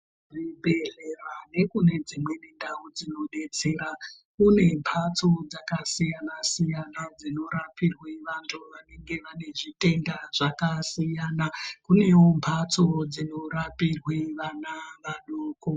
Zvibhedhlera nekune dzimwe ndau dzinodetsera kune Ndau dzinodetsera kune mbatso dzakasiyana siyana dzinorapa antu vanenge vane utenda hwakasiyana koitawo mbatso dzinorapirwawo vana vadoko.